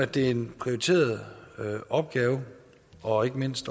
det er en prioriteret opgave og ikke mindst